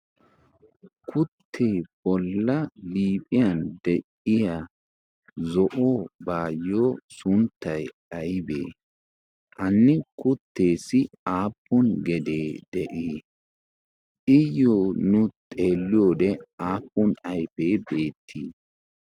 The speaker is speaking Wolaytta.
kuttee bolla liiphiyan de7iya zo7obaayyo sunttay aybbee? Ha kutteessi aappun gedee de7ii? iyyo nu xeelliyoode aappun ayfee beettii?